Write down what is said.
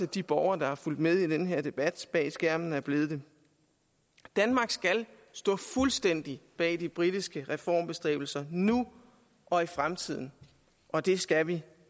de borgere der har fulgt med i den her debat bag skærmen er blevet danmark skal stå fuldstændig bag de britiske reformbestræbelser nu og i fremtiden og det skal vi